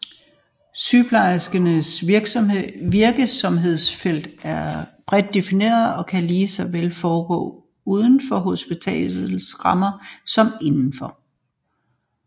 Sygeplejerskens virksomhedsfelt er bredt defineret og kan lige så vel foregå uden for hospitalets rammer som inden for